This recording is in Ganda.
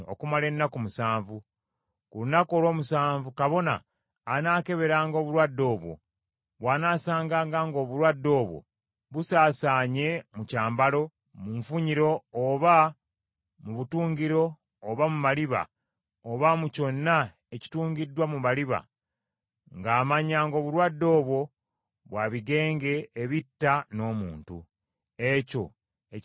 Ku lunaku olw’omusanvu kabona anaakeberanga obulwadde obwo. Bw’anaasanganga ng’obulwadde obwo bauaasanye mu kyambalo, mu nfunyiro oba mu butungiro oba mu maliba, oba mu kyonna ekitungiddwa mu maliba, ng’amanya ng’obulwadde obwo bwa bigenge ebitta n’omuntu; ekyo ekyambalo nga si kirongoofu.